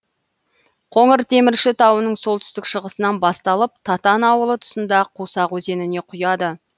қоңыртемірші тауының солтүстік шығысынан басталып татан ауылы тұсында қусақ өзеніне құяды